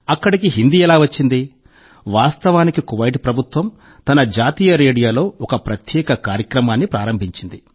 అక్కడికి హిందీ ఎలా వచ్చింది వాస్తవానికి కువైట్ ప్రభుత్వం తన జాతీయ రేడియోలో ఒక ప్రత్యేక కార్యక్రమాన్ని ప్రారంభించింది